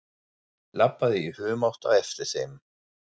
Labbaði í humátt á eftir þeim.